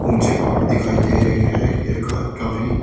ऊंचे पहाड़ दिखाई दे रहे हैं ये का काफी--